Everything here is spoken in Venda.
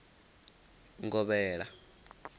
ngovhela